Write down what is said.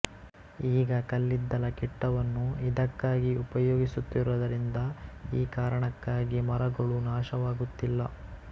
ಈಗ ಕಲ್ಲಿದ್ದಲ ಕಿಟ್ಟವನ್ನು ಇದಕ್ಕಾಗಿ ಉಪಯೋಗಿಸುತ್ತಿರುವುದರಿಂದ ಈ ಕಾರಣಕ್ಕಾಗಿ ಮರಗಳು ನಾಶವಾಗುತ್ತಿಲ್ಲ